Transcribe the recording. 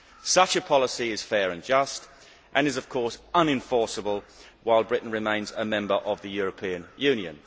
Such a policy is fair and just and is, of course, unenforceable while Britain remains a member of the European Union.